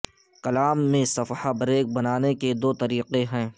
کلام میں صفحہ بریک بنانے کے دو طریقے ہیں